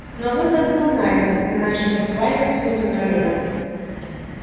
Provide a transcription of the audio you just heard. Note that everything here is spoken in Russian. но выход был найден мы начали осваивать внеземной рынок